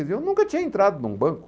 Eu nunca tinha entrado num banco.